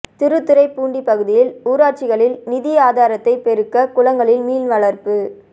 திருத்துறைப்பூண்டி பகுதியில் ஊராட்சிகளில் நிதி ஆதாரத்தை பெருக்க குளங்களில் மீன் வளர்ப்பு